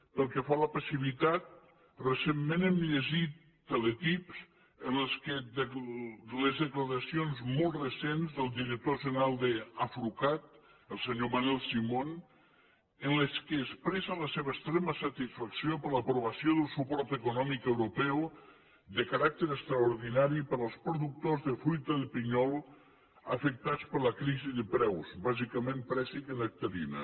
pel que fa a la passivitat recentment hem llegit teletips amb les declaracions molt recents del director general d’afrucat el senyor manel simón en què expressa la seva extrema satisfacció per l’aprovació del suport econòmic europeu de caràcter extraordinari per als productors de fruita de pinyol afectats per la crisi de preus bàsicament préssic i nectarina